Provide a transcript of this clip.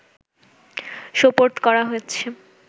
সোপর্দ করা হচ্ছে